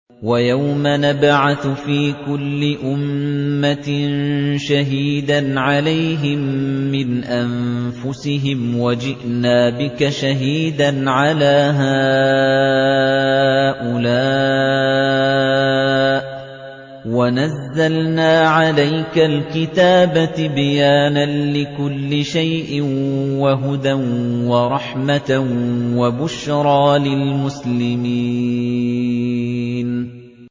وَيَوْمَ نَبْعَثُ فِي كُلِّ أُمَّةٍ شَهِيدًا عَلَيْهِم مِّنْ أَنفُسِهِمْ ۖ وَجِئْنَا بِكَ شَهِيدًا عَلَىٰ هَٰؤُلَاءِ ۚ وَنَزَّلْنَا عَلَيْكَ الْكِتَابَ تِبْيَانًا لِّكُلِّ شَيْءٍ وَهُدًى وَرَحْمَةً وَبُشْرَىٰ لِلْمُسْلِمِينَ